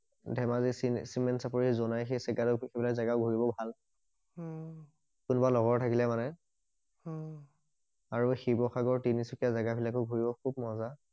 ধেমাজি চিমে চিমেণ্ট চাপৰি যোনাই সেই বিলাক জেগা ঘূৰিবলে ভাল অহ কোনবা লগৰ থাকিলে মানে অহ আৰু শিৱসাগৰ তিনিচুকীয়া জেগা বিলাকো ঘূৰিব খুব মজা